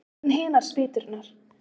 En hinar spýturnar?